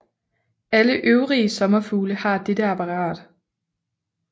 Alle øvrige sommerfugle har dette apparat